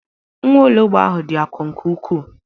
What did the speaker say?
Nwaologbo dị akọ nke ukwuu.